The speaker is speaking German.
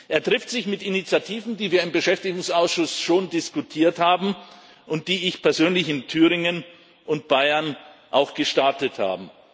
Er trifft sich mit Initiativen, die wir im Beschäftigungsausschuss schon diskutiert haben und die ich persönlich in Thüringen und Bayern auch gestartet habe.